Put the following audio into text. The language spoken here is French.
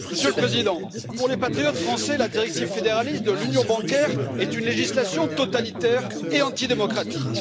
Monsieur le Président, pour les patriotes français, la directive fédéraliste de l'union bancaire est une législation totalitaire et anti démocratique.